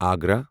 Agra